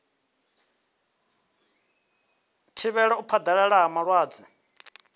thivhela u phaḓalala ha malwadze